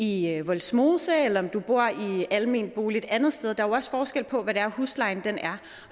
i vollsmose eller om du bor i almenbolig et andet sted der er jo også forskel på hvad huslejen er